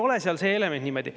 See element ei ole seal niimoodi.